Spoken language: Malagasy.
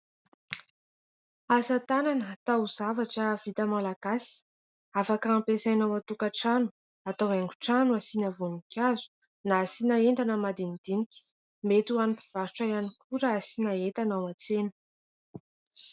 Asatanana taozavatra vita malagasy, afaka ampiasaina ao an-tokatrano, atao haingo trano asiana voninkazo, na asiana entana madinidinika, mety ho an'ny mpivarotra ihany koa raha asiana entana ao an-tsena.